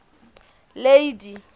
lady